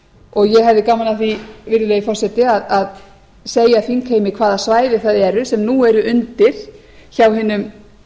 og ég hefði gaman af því virðulegi forseti að segja þingheimi hvaða svæði það eru sem nú eru undir hjá hinum